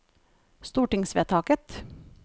stortingsvedtaket